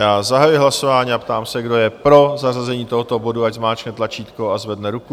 Já zahajuji hlasování a ptám se, kdo je pro zařazení tohoto bodu, ať zmáčkne tlačítko a zvedne ruku.